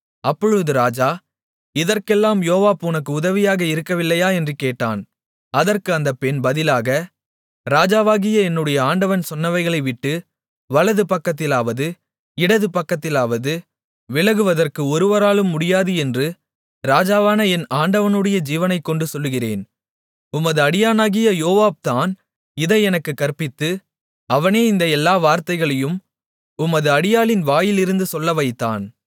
அப்பொழுது ராஜா இதற்கெல்லாம் யோவாப் உனக்கு உதவியாக இருக்கவில்லையா என்று கேட்டான் அதற்கு அந்தப் பெண் பதிலாக ராஜாவாகிய என்னுடைய ஆண்டவன் சொன்னவைகளைவிட்டு வலது பக்கத்திலாவது இடது பக்கத்திலாவது விலகுவதற்கு ஒருவராலும் முடியாது என்று ராஜாவான என் ஆண்டவனுடைய ஜீவனைக் கொண்டு சொல்லுகிறேன் உமது அடியானாகிய யோவாப் தான் இதை எனக்குக் கற்பித்து அவனே இந்த எல்லா வார்த்தைகளையும் உமது அடியாளின் வாயிலிருந்து சொல்ல வைத்தான்